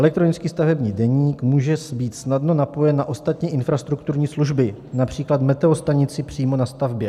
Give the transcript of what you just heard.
Elektronický stavební deník může být snadno napojen na ostatní infrastrukturní služby, například meteostanici přímo na stavbě.